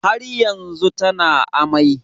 Har yanzu tana amai